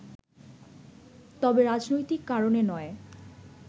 তবে রাজনৈতিক কারণে নয়